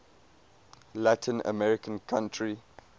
latin american country